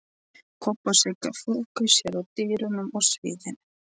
Kobbi og Sigga þokuðu sér að dyrunum að sviðinu.